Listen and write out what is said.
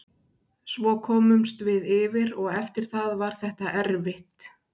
Svo komumst við yfir og eftir það var þetta erfitt.